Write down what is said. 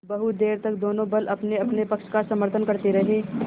बहुत देर तक दोनों दल अपनेअपने पक्ष का समर्थन करते रहे